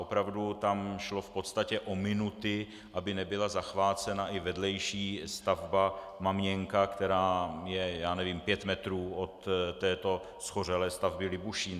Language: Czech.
Opravdu tam šlo v podstatě o minuty, aby nebyla zachvácena i vedlejší stavba Maměnka, která je - já nevím - pět metrů od této shořelé stavby Libušín.